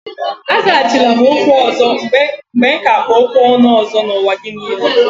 Azaghachila m okwu ọzọ mgbe ka kpụ okwu ọnụ ọzọ n'ụwa gị niile.